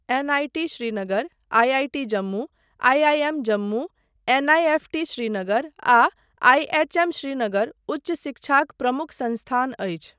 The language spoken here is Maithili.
NIT Srinagar, IIT Jammu, IIM Jammu, NIFT Srinagar आ आइएचएम श्रीनगर उच्च शिक्षाक प्रमुख संस्थान अछि।